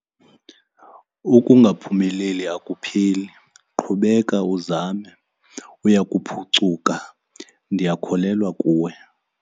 Ukungaphumeleli akupheli. Qhubeka uzame, uya kuphucuka. Ndiyakholelwa kuwe.